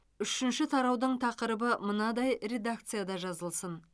үшінші тараудың тақырыбы мынадай редакцияда жазылсын